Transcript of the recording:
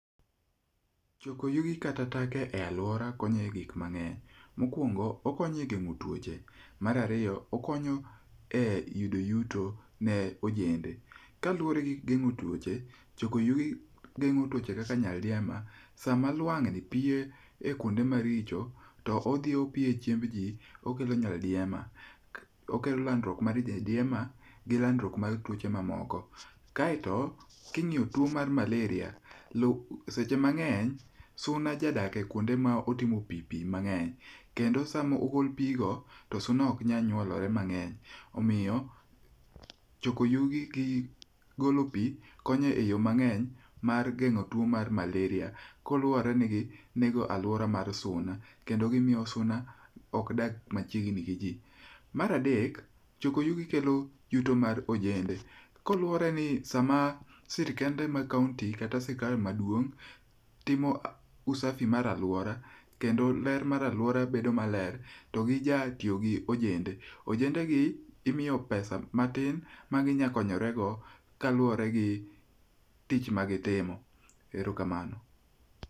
Choko yugi kata taka e aluorawa konyo egik mang'eny. Mokuongo, okonyo e geng'o tuoche. Mar ariyo, okonyo e yudo yuto ne ojende. Kaluwore gi geng'o tuoche, choko yugi geng'o tuoche kaka nyal diema. Sama luang'ni piyo ekuonde maricho, to odhi opiyo e chiemb ji, okelo nyaldiema. Okelo landruok mar nyaldiema gi landruok mar tuoche mamoko. Kae to king'iyo tuo mar malaria, lu seche mang'eny, suna jadak e kuonde motimo pi pi mang'eny, kendo sama ogol pigo, to suna ok nyal nyuolore mang'eny. Omiyo choko yugi gi golo pi konyo eyo mang'eny mar geng'o tuo mar malaria kaluwore gi nego aluora mar suna, kendo gimiyo suna ok dag machiegni gi ji. Mar adek, choko yugi kelo yuto mar ojende. Kaluworeni sama sirkende mag kaonti kata sirkal maduong' timo usafi mar aluora kendo ler mar aluora bedo maler, to gija tiyo gojende. Ojendegi imiyo pesa matin kaluwore gi tich magitimo. Erokamano.